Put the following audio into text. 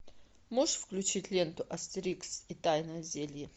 можешь включить ленту астерикс и тайное зелье